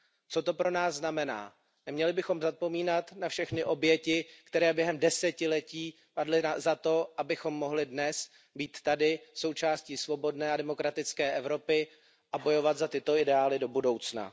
Co to pro nás znamená? Neměli bychom zapomínat na všechny oběti, které během desetiletí padly za to, abychom dnes mohli být tady, součástí svobodné a demokratické Evropy a bojovat za tyto ideály do budoucna.